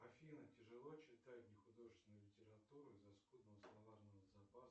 афина тяжело читать нехудожественную литературу из за скудного словарного запаса